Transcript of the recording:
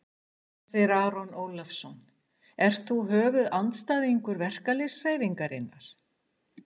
Hersir Aron Ólafsson: Ert þú höfuðandstæðingur verkalýðshreyfingarinnar?